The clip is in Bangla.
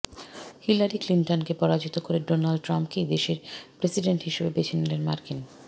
হিলারি ক্লিন্টনকে পরাজিত করে ডোনাল্ড ট্রাম্পকেই দেশের প্রেসিডেন্ট হিসাবে বেছে নিলেন মার্কিন